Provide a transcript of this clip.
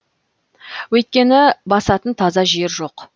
өйткені басатын таза жер жоқ